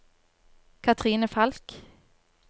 Cathrine Falch